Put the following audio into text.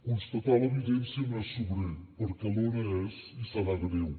constatar l’evidència no és sobrer perquè alhora és i serà greu